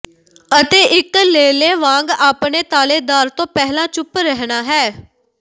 ਅਤੇ ਇੱਕ ਲੇਲੇ ਵਾਂਗ ਆਪਣੇ ਤਾਲੇਦਾਰ ਤੋਂ ਪਹਿਲਾਂ ਚੁੱਪ ਰਹਿਣਾ ਹੈ